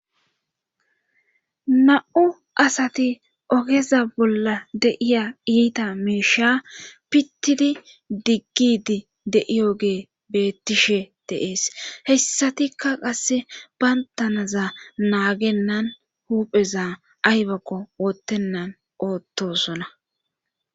na7u asati ogeza bolla de'iya iita miisha pittidi diggidi deiyo ge beettishe deees hessatikka qasse bayntanaza naagennan huupheza aybakko wottennan oottosona